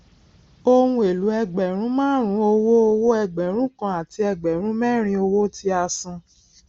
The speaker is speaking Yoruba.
ohùn èlò ẹgbèrún márùnún owó owó ẹgbẹrún kan àti ẹgbèrún mérin owó tí a san